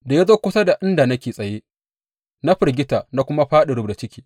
Da ya zo kusa da inda nake tsaye, na firgita na kuma fāɗi rubda ciki.